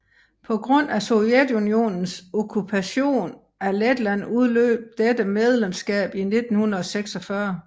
På grund af Sovjetunionens okkupation af Letland udløb dette medlemskab i 1946